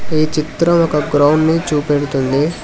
ఈ చిత్రం ఒక గ్రౌండ్ ని చూపెడుతుంది.